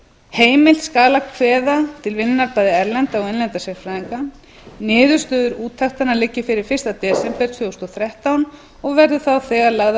heimilt skal að kveðja til vinnunnar bæði erlenda og innlenda sérfræðinga niðurstöður úttektanna liggi fyrir fyrsta desember tvö þúsund og þrettán og verði þá þegar lagðar